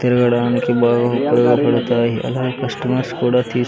తిరగడానికి బాగా ఉపయోగపడతాయి అలాగే కస్టమర్స్ కూడా తీస్.